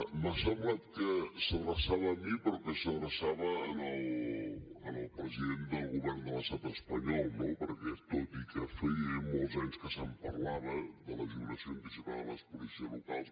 m’ha semblat que s’adreçava a mi però que s’adreçava al president de l’estat espanyol no perquè tot i que feia molts anys que se’n parlava de la jubilació anticipada de les policies locals